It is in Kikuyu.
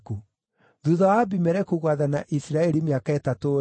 Thuutha wa Abimeleku gwathana Isiraeli mĩaka ĩtatũ-rĩ,